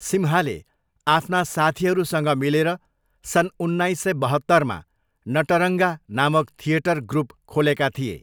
सिम्हाले आफ्ना साथीहरूसँग मिलेर सन् उन्नाइस सय बहत्तरमा 'नटरङ्गा' नामक थिएटर ग्रुप खोलेका थिए।